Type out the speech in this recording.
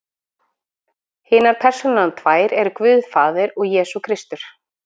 Hinar persónurnar tvær eru Guð faðir og Jesús Kristur.